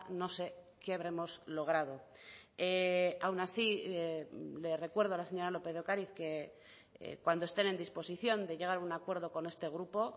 no se qué habremos logrado aun así le recuerdo a la señora lópez de ocariz que cuando estén en disposición de llegar a un acuerdo con este grupo